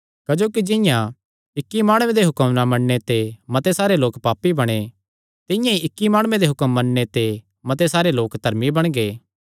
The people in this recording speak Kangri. क्जोकि जिंआं इक्की माणुये दे हुक्म ना मन्नणे ते मते सारे लोक पापी बणे तिंआं ई इक्की माणुये दे हुक्म मन्नणे ते मते सारे लोक धर्मी बणगे